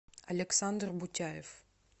александр бутяев